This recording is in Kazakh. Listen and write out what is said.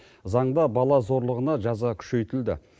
заңда бала зорлығына жаза күшейтілді